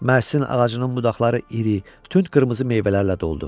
Mərsin ağacının budaqları iri, tünd qırmızı meyvələrlə doldu.